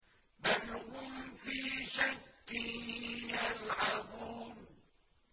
بَلْ هُمْ فِي شَكٍّ يَلْعَبُونَ